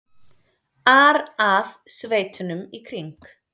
ar að sveitunum í kring.